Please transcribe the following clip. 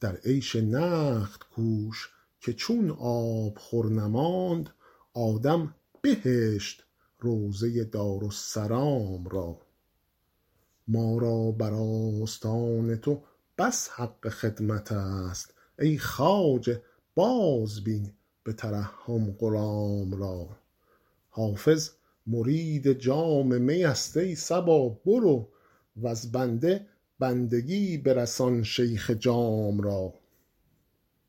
در عیش نقد کوش که چون آبخور نماند آدم بهشت روضه دارالسلام را ما را بر آستان تو بس حق خدمت است ای خواجه بازبین به ترحم غلام را حافظ مرید جام می است ای صبا برو وز بنده بندگی برسان شیخ جام را